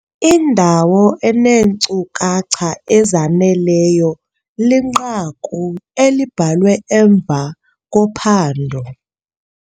Indawo eneenkcukacha ezaneleyo linqaku elibhalwe emva kophando.